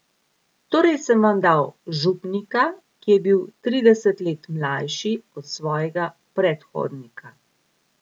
Torej sem vam dal župnika, ki je bil trideset let mlajši od svojega predhodnika.